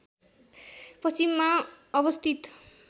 पश्चिममा अवस्थित